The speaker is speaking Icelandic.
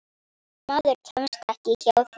Maður kemst ekki hjá því.